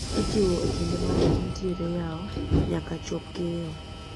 Ijiwo e kinde ma rech nitire yao nyaka chop keyo